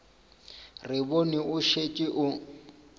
re bone o šetše o